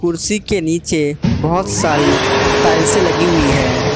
उसी के नीचे बहुत सारी टाइल्से लगी हुई है।